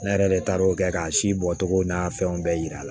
Ne yɛrɛ de taar'o kɛ k'a si bɔ cogo n'a fɛnw bɛɛ yira la